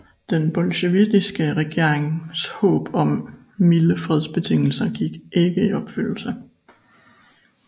Den bolsjevikiske regerings håb om milde fredsbetingelser gik ikke i opfyldelse